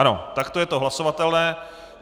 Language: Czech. Ano, takto je to hlasovatelné.